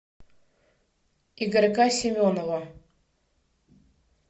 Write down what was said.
игорька семенова